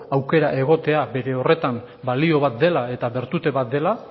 aukera egotea bere horretan balore bat dela eta bertute bat dela